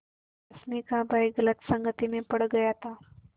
रश्मि का भाई गलत संगति में पड़ गया था